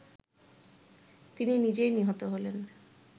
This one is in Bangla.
তিনি নিজেই নিহত হলেন